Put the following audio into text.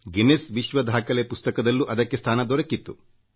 Guinness ವಿಶ್ವ ದಾಖಲೆ ಪುಸ್ತಕದಲ್ಲೂ ಅದಕ್ಕೆ ಸ್ಥಾನ ದೊರಕಿತ್ತು